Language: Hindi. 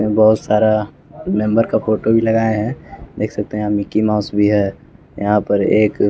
ये बहुत सारा मेंबर का फोटो भी लगाए हैं देख सकते हैं हम मिकी माउस भी है यहां पर एक--